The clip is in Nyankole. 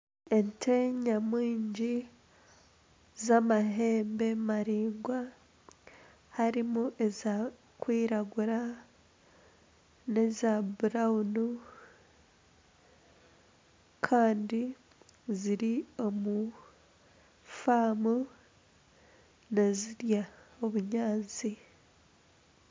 Ente nyamwingi z'amahembe maraingwa, harimu ezirikwiragura n'eza kitaka kandi ziri omu faamu nizirya obunyatsi